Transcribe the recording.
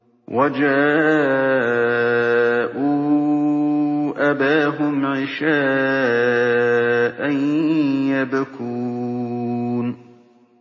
وَجَاءُوا أَبَاهُمْ عِشَاءً يَبْكُونَ